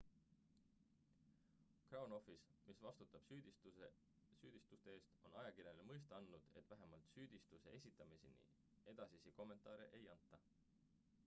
crown office mis vastutab süüdistuste eest on ajakirjanikele mõista andnud et vähemalt süüdistuse esitamiseni edasisi kommentaare ei anta